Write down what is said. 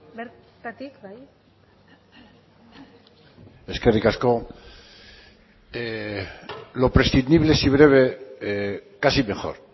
bertatik bai eskerrik asko lo prescindible si breve casi mejor